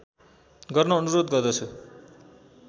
गर्न अनुरोध गर्दछु